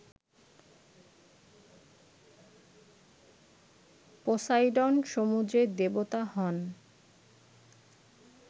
Poseidon সমুদ্রের দেবতা হন